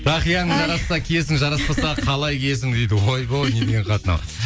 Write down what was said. тақияң жарасса киесің жараспаса қалай киесің дейді ойбай не деген хат мынау